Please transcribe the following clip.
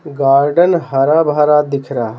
Garden हरा भरा दिख रहा है।